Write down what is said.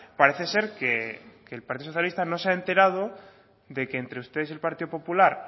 parece ser que el partido socialista no se ha enterado de que entre ustedes y el partido popular